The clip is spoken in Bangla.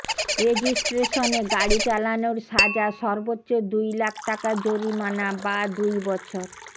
রেজিস্ট্রেশনে গাড়ি চালানোর সাজা সর্বোচ্চ দুই লাখ টাকা জরিমানা বা দুই বছর